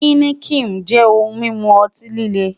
Heineken jẹ ohun mimu ọti-lile